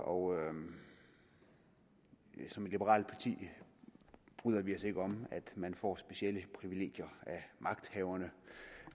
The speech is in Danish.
og som et liberalt parti bryder vi os ikke om at man får specielle privilegier af magthaverne